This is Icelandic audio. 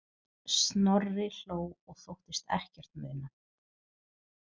Snorri hló og þóttist ekkert muna.